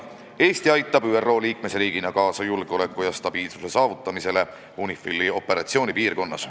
Eesti aitab ÜRO liikmesriigina kaasa julgeoleku ja stabiilsuse saavutamisele UNIFIL-i operatsioonipiirkonnas.